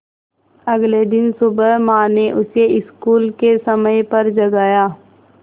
अगले दिन सुबह माँ ने उसे स्कूल के समय पर जगाया